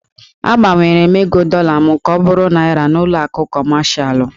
Agbanwere m ego dọla m ka ọ bụrụ Naịra n'ụlọ akụ kọmashalụ.